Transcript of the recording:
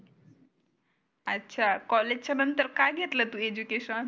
अच्छा कॉलेजच्या नंतर काय घेतल तु एजुकेशन?